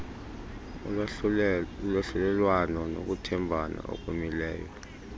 ulwahlulelwano nokuthembana okumileyo